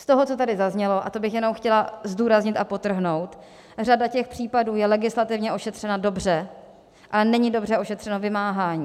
Z toho, co tady zaznělo - a to bych jenom chtěla zdůraznit a podtrhnout - řada těch případů je legislativně ošetřena dobře, ale není dobře ošetřeno vymáhání.